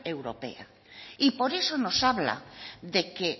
europea y por eso nos habla de que